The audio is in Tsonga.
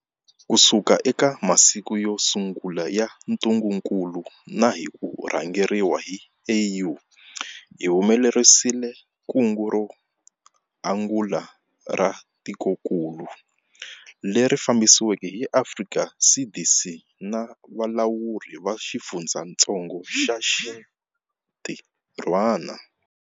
Kusuka eka masiku yo sungula ya ntungukulu na hi ku rhangeriwa hi AU, hi humelerisile kungu ro angula ra tikokulu, leri fambisiweke hi Afrika CDC na valawuri va xifundzatsongo va xitirhwana.